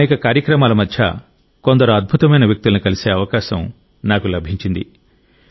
అనేక కార్యక్రమాల మధ్య కొందరు అద్భుతమైన వ్యక్తులను కలిసే అవకాశం నాకు లభించింది